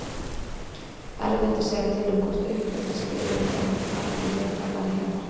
Erfitt er að segja til um hvort uppeldi spili einhvern þátt í vetrarfari himbrima.